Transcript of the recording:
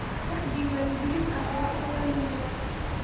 Wax diiwaangelin ah waa in la lumiyaa.